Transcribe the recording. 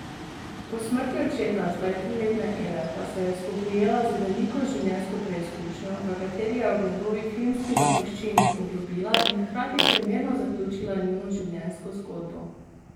Po smrti očeta zdaj triletne Ele pa se je spoprijela z veliko življenjsko preizkušnjo, v kateri je ob njegovi filmski zapuščini poglobila in hkrati primerno zaključila njuno življenjsko zgodbo.